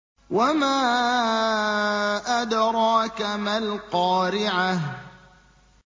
وَمَا أَدْرَاكَ مَا الْقَارِعَةُ